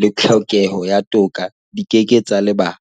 le tlhokeho ya toka di ke ke tsa lebalwa.